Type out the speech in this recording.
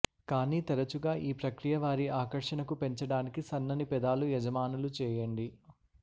కానీ తరచుగా ఈ ప్రక్రియ వారి ఆకర్షణకు పెంచడానికి సన్నని పెదాలు యజమానులు చేయండి